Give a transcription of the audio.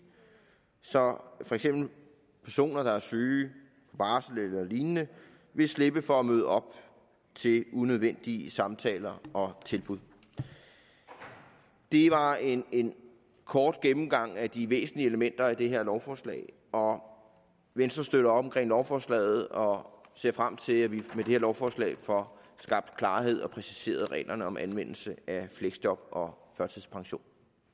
så for eksempel personer der er syge på barsel eller lignende vil slippe for at møde op til unødvendige samtaler og tilbud det var en en kort gennemgang af de væsentlige elementer i det her lovforslag og venstre støtter op om lovforslaget og ser frem til at vi med det her lovforslag får skabt klarhed og præciseret reglerne om anvendelse af fleksjob og førtidspension